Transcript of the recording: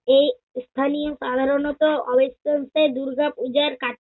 এই স্থানীয় সাধারণত দুর্গাপূজার কা~